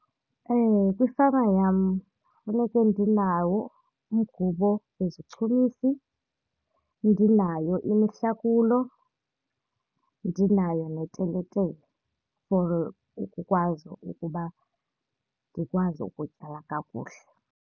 Kwifama yam funeke ndinawo umgubo nezichumisi, ndinayo imihlakulo, ndinayo neteletele for ukukwazi ukuba ndikwazi ukutyala kakuhle.